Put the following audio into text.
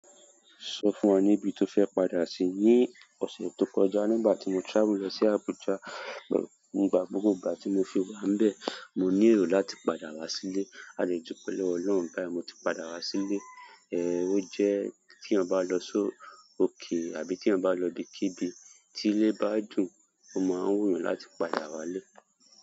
Sọ fún wa níbi tó fẹ́ padà sí ní ọ̀sẹ̀ tó kọjá, nígbà tí mo travel lọ sí Abuja, nígbà gbogbo ìgbà tí mo fi wà níbẹ̀, mo ní ero láti padà wá sílé. A de dupe lowo Oloun bayi, mo ti padà wa sile. Eh, ó jẹ́ ti eeyan ba lo si o. Okay àbí tí eeyan bá lọ ibikíbi tí ilé bá jin, o máa ń wùyàn láti padà wálé.